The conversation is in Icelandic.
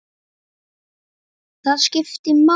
Það skipti máli.